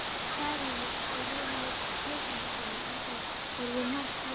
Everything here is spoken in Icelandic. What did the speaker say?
Særúnu og Jóhanni kaupmannssyni, enda voru þau um margt lík.